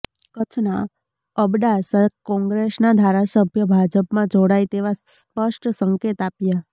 કચ્છના અબડાસા કોંગ્રેસના ધારાસભ્ય ભાજપમાં જોડાય તેવા સ્પષ્ટ સંકેત આપ્યા